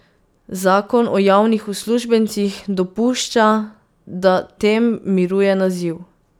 Zakon o javnih uslužbencih dopušča, da tem miruje naziv.